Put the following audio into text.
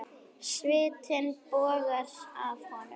Svitinn bogar af honum.